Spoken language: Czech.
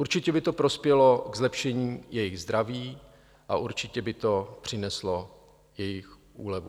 Určitě by to prospělo k zlepšení jejich zdraví a určitě by to přineslo jejich úlevu.